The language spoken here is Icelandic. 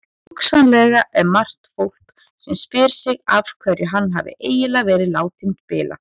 Hugsanlega er margt fólk sem spyr sig af hverju hann hafi eiginlega verið látinn spila?